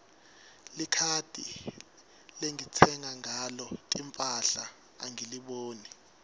likhadi lengitsenga ngalo timphahla angiliboni